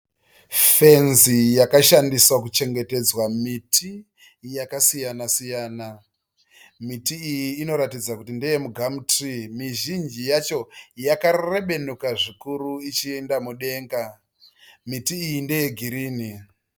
Fenzi yakashandiswa kuchengetedza miti yakasiyana siyana. Miti iyi inoratidza kuti ndeye mi"gum tree". Mizhinji yacho yakarebenuka zvikuru ichienda mudenga. Miti iyi ndeyegirinhi.